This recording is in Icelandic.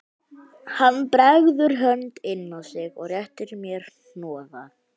Hann bregður hönd inn á sig og réttir mér hnoða